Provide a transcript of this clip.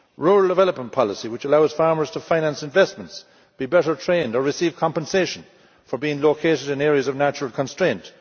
rural development policy, which allows farmers to finance investments, be better trained or receive compensation for being located in areas of natural constraint